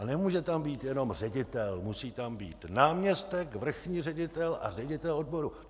A nemůže tam být jenom ředitel, musí tam být náměstek, vrchní ředitel a ředitel odboru.